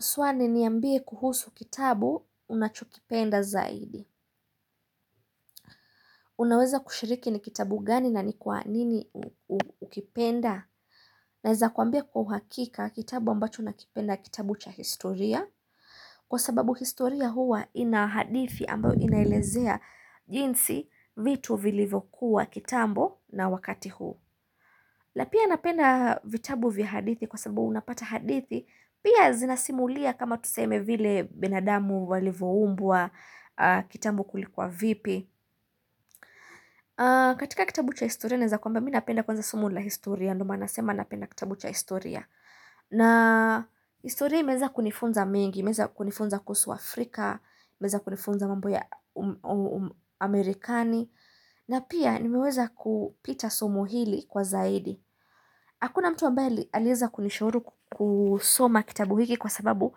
Swali, niambie kuhusu kitabu unachokipenda zaidi. Unaweza kushiriki ni kitabu gani na ni kwa nini ukipenda. Naeza kuambia kwa hakika kitabu ambacho nakipenda kitabu cha historia. Kwa sababu historia huwa inahadithi ambao inaelezea jinsi vitu vilivokuwa kitambo na wakati huu. La pia napenda vitabu vya hadithi kwa sababu unapata hadithi. Pia zinasimulia kama tuseme vile binadamu walivuumbwa kitambo kulikuwa vipi katika kitabu cha historia naeza kwamba mi napenda kwanza somo la historia Ndio maana nasema napenda kitabu cha historia na historia imeeza kunifunza mengi, imeeza kunifunza kuhusu Afrika imeeza kunifunza mambo ya Amerikani na pia nimeweza kupita somo hili kwa zaidi Hakuna mtu ambae alieza kunishauri kusoma kitabu hiki kwa sababu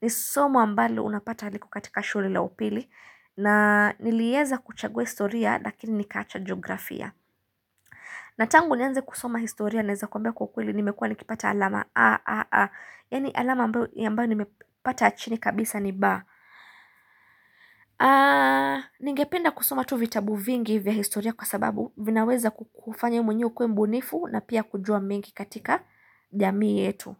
ni somo ambalo unapata liko katika shule la upili na nilieza kuchagua historia lakini nikaacha jiografia. Na tangu nianze kusoma historia naeza kuambia kukuli nimekua nikipata alama. A, A, A. Yani alama ambayo nimepata achini kabisa ni, Ba. Ningependa kusoma tu vitabu vingi vya historia kwa sababu vinaweza kufanya mwenyewe ukuwe mbunifu na pia kujua mengi katika jamii yetu.